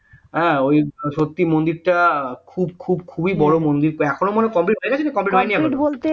হ্যাঁ ওই সত্যি মন্দির টা খুব খুব খুবই বড় মন্দির প্রায় এখনো complete হয়নি এখনো